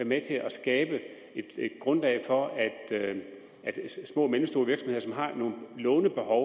med til at skabe et grundlag for at små og mellemstore virksomheder som har nogle lånebehov